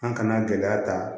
An kana gɛlɛya ta